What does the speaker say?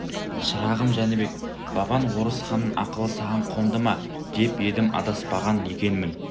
шырағым жәнібек бабаң орысханның ақылы саған қонды ма деп едім адаспаған екенмін